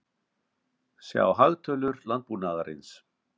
Sjá hagtölur landbúnaðarins.